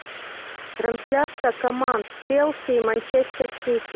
трансляция команд челси и манчестер сити